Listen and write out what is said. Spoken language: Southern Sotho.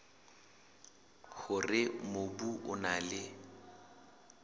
hore mobu o na le